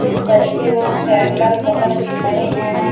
कुछ बच्चें लोग कैंडल पकड़ के खड़े है।